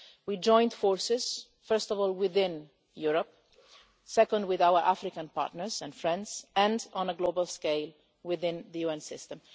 We joined forces, first of all within Europe, second with our African partners and friends and, on a global scale, within the UN system.